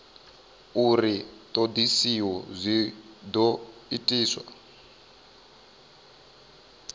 uri ṱhoḓisio dzi ḓo itiswa